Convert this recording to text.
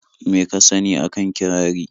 Me ka sani a kan kirari?